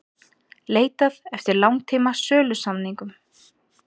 Leitað eftir langtíma sölusamningum